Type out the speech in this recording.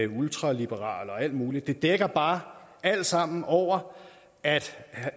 ultraliberal og alt muligt det dækker bare alt sammen over at